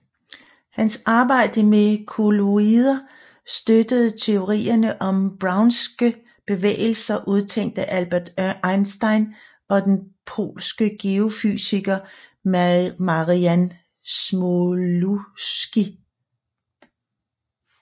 Hans arbejde med kolloider støttede teorierne om Brownske bevægelser udtænkt af Albert Einstein og den polske geofysiker Marian Smoluchowski